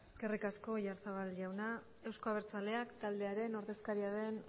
eskerrik asko oyarzabal jauna euzko abertzaleak taldearen ordezkaria den